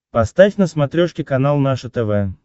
поставь на смотрешке канал наше тв